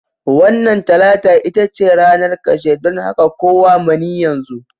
Wannan Talata ita ce ranar ƙarshe, don haka kawo mani yanzu